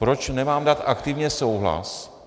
Proč nemám dát aktivně souhlas?